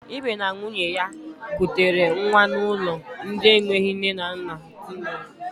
Ibe na nwunye ya kutere nwa n'ụlọ ndị enweghị nne na nna dị na Ọlụ.